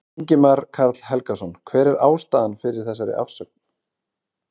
Ingimar Karl Helgason: Hver er ástæðan fyrir þessari afsögn?